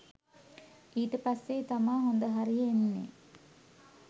ඊට පස්සේ තමා හොඳ හරිය එන්නේ